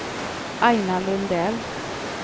Aina Lundell